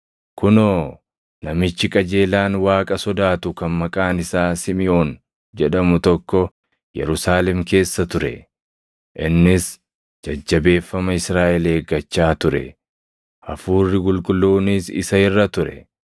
Kunoo, namichi qajeelaan Waaqa sodaatu kan maqaan isaa Simiʼoon jedhamu tokko Yerusaalem keessa ture. Innis jajjabeeffama Israaʼel eeggachaa ture; Hafuurri Qulqulluunis isa irra ture.